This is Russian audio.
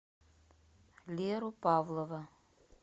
леру павлова